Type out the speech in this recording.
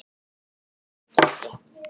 Annað gengi ekki.